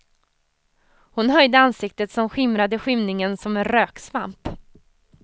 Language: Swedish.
Hon höjde ansiktet, som skimrade i skymningen som en röksvamp.